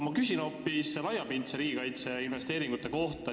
Ma küsin aga hoopis laiapindse riigikaitse investeeringute kohta.